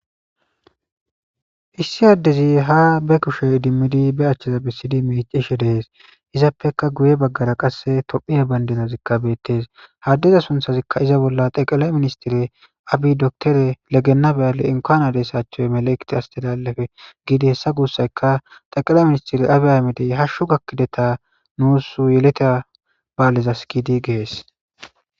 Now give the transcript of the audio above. Issi addezi haa ba kushe idimmizinne ba achchetha bessidi miiccishe de7ees; izappekka guye baggara qassi tophphiya banddirazikka beeththees; ha addeza sunththathikka iza bolla xeqlay ministere abiy doctere le gennaa bal inkuan aderesachu melikt astelalefe giidi heyssa gussaykka xeqlay ministere abiy ahimedi hashshu gakkidetha nuus yeletha baalezas giidi ges.